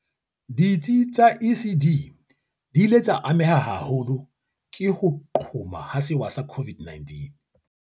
Ditsi tsa ECD di ile tsa ameha haholo ke ho qhoma ha sewa sa COVID-19.